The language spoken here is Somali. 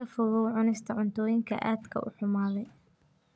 Ka fogow cunista cuntooyinka aadka u xumaaday.